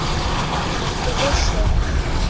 En þú vissir ekkert.